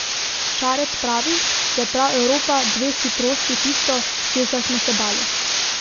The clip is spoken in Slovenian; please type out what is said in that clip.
Šarec pravi, da je prav Evropa dveh hitrosti tisto, česar smo se bali.